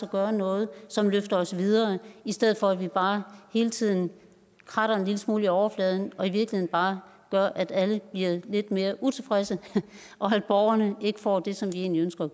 gøre noget som løfter os videre i stedet for at vi bare hele tiden kratter en lille smule i overfladen og i virkeligheden bare gør at alle bliver lidt mere utilfredse og at borgerne ikke får det som vi egentlig ønsker